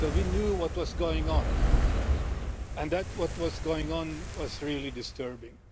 So we knew what was going on, and what was going on was really disturbing.